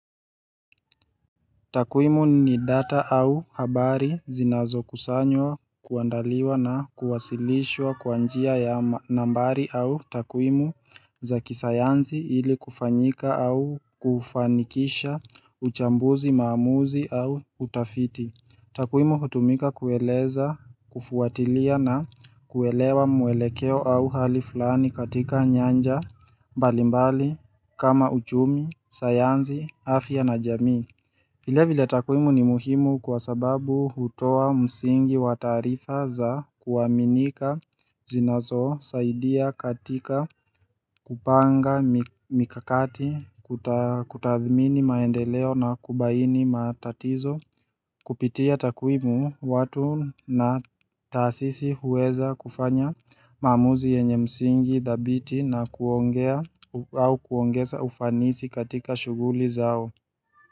Takwimu ni data au habari zinazo kusanywa kuandaliwa na kuwasilishwa kwa njia ya nambari au takwimu za kisayansi ili kufanyika au kufanikisha uchambuzi maamuzi au utafiti. Takwimu hutumika kueleza, kufuatilia na kuelewa mwelekeo au hali fulani katika nyanja, mbalimbali, kama uchumi, sayansi, afya na jamii. Vile vile takwimu ni muhimu kwa sababu hutoa msingi wa tarifa za kuaminika zinazo saidia katika kupanga mikakati kutathmini maendeleo na kubaini matatizo kupitia takwimu watu na taasisi huweza kufanya maamuzi yenye msingi dhabiti na kuongea au kuongeza ufanisi katika shuguli zao.